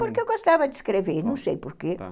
Porque eu gostava de escrever, não sei por quê.